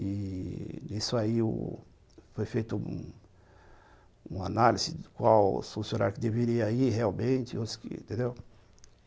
E nisso aí foi feito um um análise de qual funcionário deveria ir realmente, entendeu?